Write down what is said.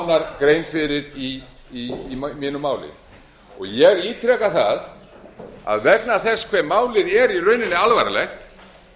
nánar grein fyrir í mínu máli ég ítreka það að vegna þess hve málið er í rauninni alvarlegt